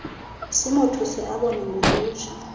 simothuse abone ngolutsha